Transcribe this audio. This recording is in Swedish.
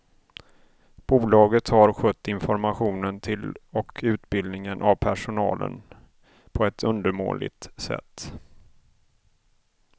Bolaget har skött informationen till och utbildningen av personalen på ett undermåligt sätt.